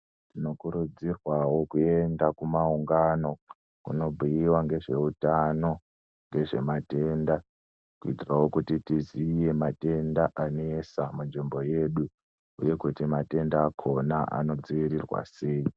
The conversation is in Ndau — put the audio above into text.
Tinokurudzirwawo kuenda kumawungano kunotaurwa ngezveutano ngezvematenda kuitira kuti tiziye matenda anesa munzvimbo yedu uye kuti matenda akona anodzivirirwa sei.